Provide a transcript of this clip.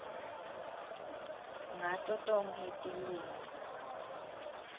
ngato tonkhe tilwimi